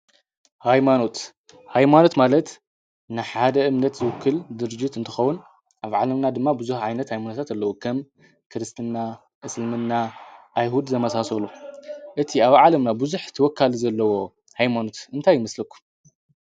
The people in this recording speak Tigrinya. ኃይማኖት ኃይማኖት ማለት ንሓደ እምነት ዘውክል ድርጅት እንተኸዉን ኣብ ዓለምና ድማ ብዙኅ ዓይነት ኣይሙንተት ኣለዉ ከም ክርስትና እስልምና ኣይሁድ ዘመሳሰሉ እቲ ኣብ ዓለምና ብዙኅ ትወካሉ ዘለዎ ኃይማኑት እንታይ ይምስልኩ?